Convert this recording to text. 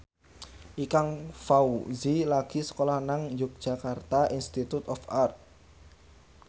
Ikang Fawzi lagi sekolah nang Yogyakarta Institute of Art